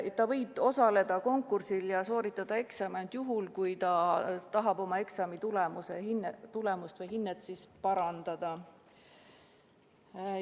Ta võiks osaleda konkursil ja sooritada eksami ainult juhul, kui ta tahab oma eksamitulemust või hinnet parandada.